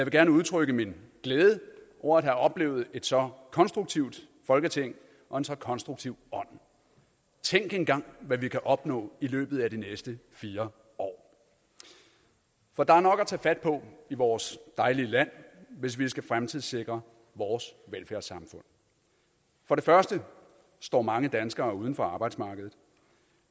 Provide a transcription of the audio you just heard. gerne udtrykke min glæde over at have oplevet et så konstruktivt folketing og en så konstruktiv ånd tænk engang hvad vi kan opnå i løbet af de næste fire år for der er nok at tage fat på i vores dejlige land hvis vi skal fremtidssikre vores velfærdssamfund for det første står mange danskere uden for arbejdsmarkedet